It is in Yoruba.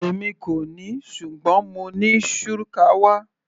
Èmi kò ní ṣùgbọ́n mo ní shukawa.